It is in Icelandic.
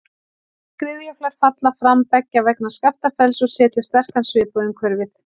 Skriðjöklar falla fram beggja vegna Skaftafells og setja sterkan svip á umhverfið.